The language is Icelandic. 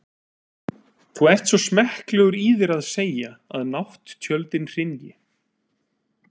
Þú ert svo smekklegur í þér að segja, að nátttjöldin hrynji.